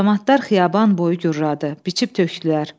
Avtomatlar xiyaban boyu gurradı, biçib tökdülər.